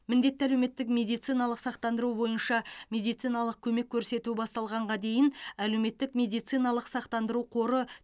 міндетті әлеуметтік медициналық сақтандыру бойынша медициналық көмек көрсету басталғанға дейін әлеуметтік медициналық сақтандыру қоры